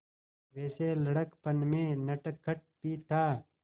वैसे लड़कपन में नटखट भी था